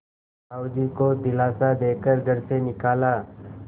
साहु जी को दिलासा दे कर घर से निकाला